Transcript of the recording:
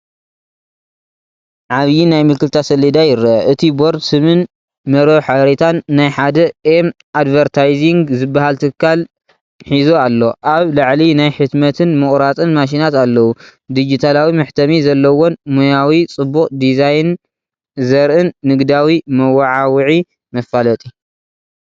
ዓብይ ናይ ምልክታ ሰሌዳ ይረአ፡፡ እቲ ቦርድ ስምን መርበብ ሓበሬታን ናይ ሓደ “ኤም ኣድቨርታይዚንግ” ዝበሃል ትካል ሒዙ ኣሎ። ኣብ ላዕሊ ናይ ሕትመትን ምቑራጽን ማሽናት ኣለዉ፡፡ ዲጂታላዊ መሕተሚ ዘለዎን ሞያዊ፡ ጽቡቕ ዲዛይን ዘርእን ንግዳዊ መወዓውዒ/ መፋለጢ።